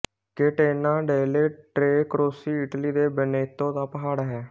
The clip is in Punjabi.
ਕੇਟੇਨਾ ਡੇਲੇ ਟ੍ਰੇ ਕਰੋਸੀ ਇਟਲੀ ਦੇ ਵੈਨੇਤੋ ਦਾ ਪਹਾੜ ਹੈ